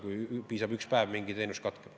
Piisab ühest päevast, ja mingi teenus katkeb.